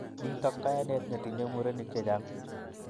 Nito kayanet netinyei murenik chechang